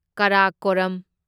Karakoram